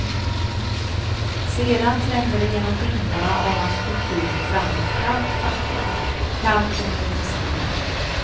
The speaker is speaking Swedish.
Sedan trängde det genom dimmorna av hans kultur fram ett kallt faktum, kallt som en liten sten.